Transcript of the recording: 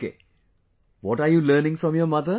Okay, what are you learning from your mother